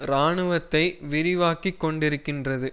இராணுவத்தை விரிவாக்கிக் கொண்டிருக்கின்றது